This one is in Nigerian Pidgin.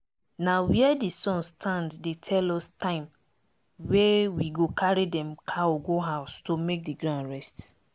na where the sun stand dey tell us time wey we go carry dem cow go house to make the ground rest.